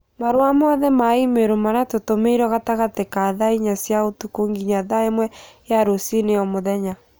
marũa mothe ma i-mīrū marĩa tũtũmĩirũo gatagatĩ ka thaa inya cia ũtukũ nginya thaa ĩmwe ya rũcinĩ o mũthenya